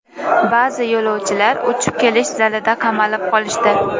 Ba’zi yo‘lovchilar uchib kelish zalida qamalib qolishdi.